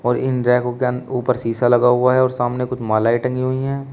और इन रैकों के ऊपर शीशा लगा हुआ है और सामने कुछ मालाएं टंगी हुई हैं।